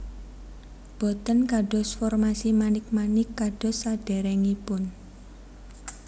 Boten kados formasi manik manik kados sadèrèngipun